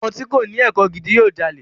Ọmọ tí kòní ẹ̀kọ́ gidi yóò jalè.